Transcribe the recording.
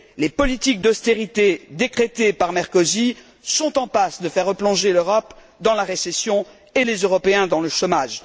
Les politiques d'austérité décrétées par Merkozy sont en passe de faire replonger l'Europe dans la récession, et les Européens dans le chômage.